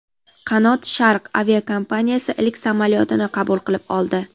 "Qanot Sharq" aviakompaniyasi ilk samolyotini qabul qilib oldi.